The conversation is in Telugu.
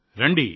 రండి